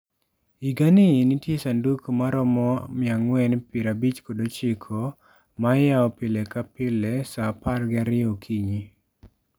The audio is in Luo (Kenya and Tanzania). Higani nitie sanduk maromo 459, ma iyawo pile ka pile sa apar gi ariyo okinyi.